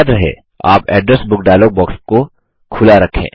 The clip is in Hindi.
याद रहे आप एड्रेस बुक डायलॉग बॉक्स को खुला रखें